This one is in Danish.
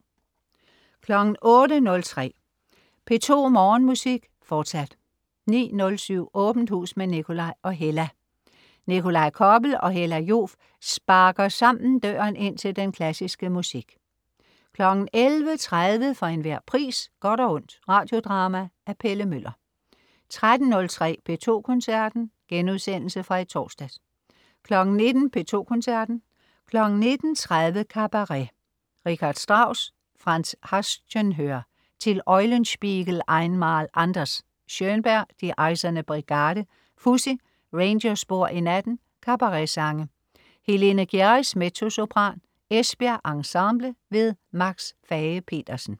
08.03 P2 Morgenmusik, fortsat 09.07 Åbent hus med Nikolaj og Hella. Nikolaj Koppel og Hella Joof sparker sammen døren ind til den klassiske musik 11.30 For enhver pris. Godt og ondt. Radiodrama af Pelle Møller 13.03 P2 Koncerten.* Genudsendelse fra i torsdags 19.00 P2 Koncerten. 19.30 Kabaret. Richard Strauss/Franz Haszenhör: Till Eulenspiegel, einmal anders! Schönberg: Die Eiserne Brigade. Fuzzy: Rangerspor i natten. Kabaretsange. Helene Gjerris, mezzosopran. Esbjerg Ensemble. Max Fage-Pedersen